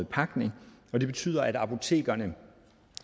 pakning det betyder at apotekerne